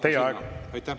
Teie aeg!